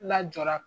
Lajɔra